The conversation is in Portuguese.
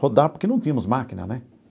rodar, porque não tínhamos máquina, né?